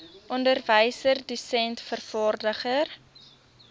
onderwyser dosent vervaardiger